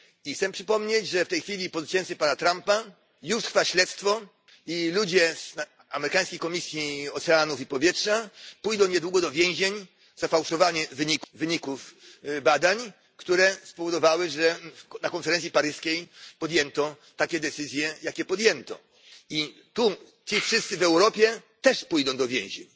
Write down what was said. Chcę przypomnieć, że w tej chwili, po zwycięstwie Donalda Trumpa już trwa śledztwo i ludzie z amerykańskiej Komisji Oceanów i Powietrza pójdą niedługo do więzień za fałszowanie wyników badań, które spowodowały, że na konferencji paryskiej podjęto takie decyzje, jakie podjęto. I tu ci wszyscy w Europie też pójdą do więzień.